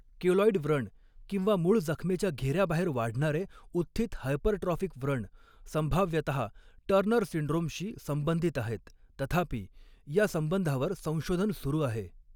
Keloid व्रण किंवा मूळ जखमेच्या घेऱ्याबाहेर वाढणारे उत्थित हायपरट्रॉफिक व्रण, संभाव्यतः टर्नर सिंड्रोम शी संबंधित आहेत, तथापि, या संबंधावर संशोधन सुरू आहे.